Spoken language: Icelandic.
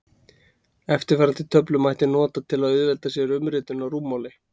Eftirfarandi töflu mætti nota til að auðvelda sér umritun á rúmmáli.